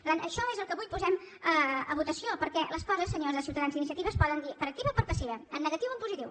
per tant això és el que avui posem a votació perquè les coses senyors de ciutadans i d’iniciativa es poden dir per activa o per passiva en negatiu o en positiu